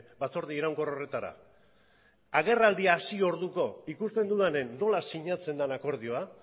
batzorde iraunkor horretara agerraldi hasi orduko ikusten dudanen nola sinatzen den akordioa